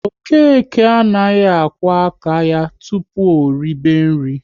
Okeke anaghị akwo aka ya tụpụ o ribe nri